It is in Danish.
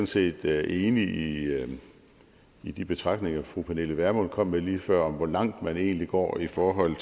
set enig i de betragtninger fru pernille vermund kom med lige før om hvor langt man egentlig går i forhold